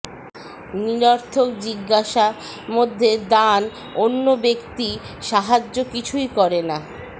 নিরর্থক জিজ্ঞাসা মধ্যে দান অন্য ব্যক্তি সাহায্য কিছুই করে না